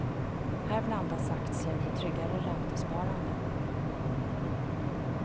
Här blandas aktier med tryggare räntesparande.